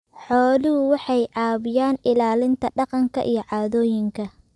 Xooluhu waxay caawiyaan ilaalinta dhaqanka iyo caadooyinka.